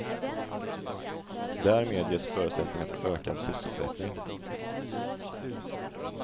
Därmed ges förutsättningar för ökad sysselsättning.